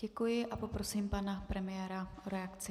Děkuji a poprosím pana premiéra o reakci.